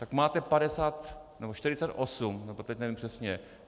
Tak máte 50 nebo 48 nebo teď nevím přesně.